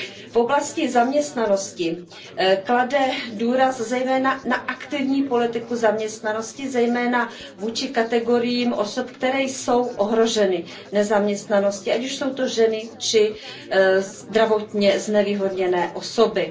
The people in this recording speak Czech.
V oblasti zaměstnanosti klade důraz zejména na aktivní politiku zaměstnanosti, zejména vůči kategoriím osob, které jsou ohroženy nezaměstnaností, ať už jsou to ženy či zdravotně znevýhodněné osoby.